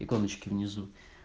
иконочки внизу